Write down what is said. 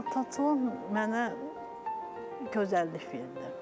Xalçaçılıq mənə gözəllik verdi.